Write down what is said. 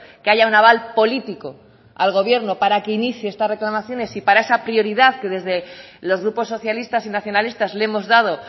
que haya un aval político al gobierno para que inicie estas reclamaciones y para esa prioridad que desde los grupos socialistas y nacionalistas le hemos dado